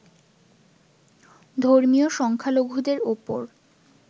ধর্মীয় সংখ্যালঘুদের ওপর